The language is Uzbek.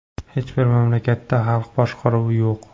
Hech bir mamlakatda xalq boshqaruvi yo‘q.